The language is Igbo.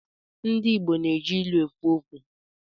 Ndị Igbo na-eji ilu ekwu okwu.